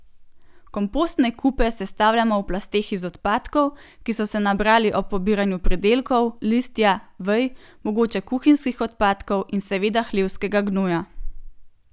Kompostne kupe sestavljamo v plasteh iz odpadkov, ki so se nabrali ob pobiranju pridelkov, listja, vej, mogoče kuhinjskih odpadkov in seveda hlevskega gnoja.